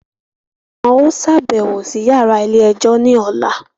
Wọn o ṣabẹwo sí yàrá ilé-ẹjọ ní ọla